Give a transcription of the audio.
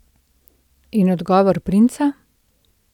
In odgovor princa?